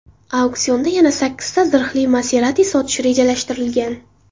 Auksionda yana sakkizta zirhli Maserati sotish rejalashtirilgan.